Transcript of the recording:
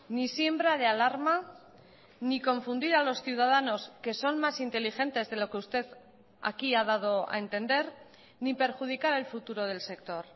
ni siembra de alarma ni confundir a los ciudadanos que son más inteligentes de lo que usted aquí ha dado a entender ni perjudicar el futuro del sector